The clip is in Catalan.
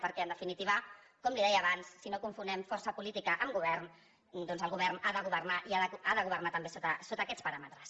perquè en definitiva com li deia abans si no confonem força política amb govern doncs el govern ha de governar i ha de governar també sota aquests paràmetres